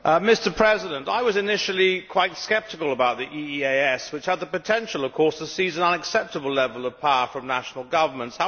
Mr President, I was initially quite sceptical about the EEAS, which had the potential to seize an unacceptable level of power from national governments.